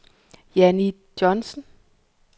Janni Johnsen